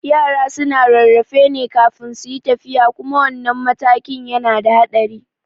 Yara suna rarrafe ne kafin suyi tafiya kuma wannan matakin yana da haɗari